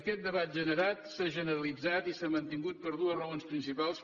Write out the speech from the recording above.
aquest debat generat s’ha generalitzat i s’ha mantingut per deu raons principals